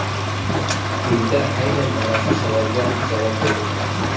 Quyida aynan mana shu savolga javob berib o‘tamiz.